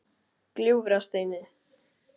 Gljúfrasteini